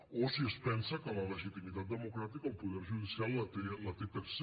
o si es pensa que la legitimitat democràtica el poder judicial la té per se